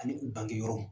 Ani u bangeyɔrɔ